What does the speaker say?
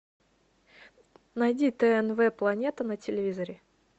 найди тнв планета на телевизоре